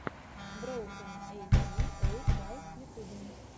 броукэн эйти эйт байк в ютюбе